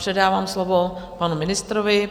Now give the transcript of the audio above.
Předávám slovo panu ministrovi.